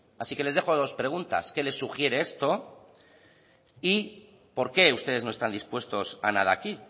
así que les dejos dos preguntas qué les sugiere esto y por qué ustedes no están dispuestos a nada aquí